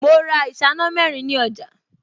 Mo ra ìṣáná mẹ́rin ní ọjà